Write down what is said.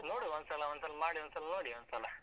ನೋಡಿ ಒಂದ್ಸಲ ಒಂದ್ಸಲ ಮಾಡಿ ಒಂದ್ಸಲ ನೋಡಿ ಒಂದ್ಸಲ?